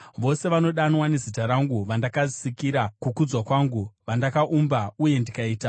vose vanodanwa nezita rangu, vandakasikira kukudzwa kwangu vandakaumba uye ndikaita.”